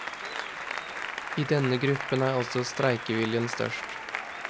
I denne gruppen er også streikeviljen størst.